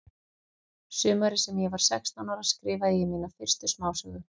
Sumarið sem ég var sextán ára skrifaði ég mína fyrstu smásögu.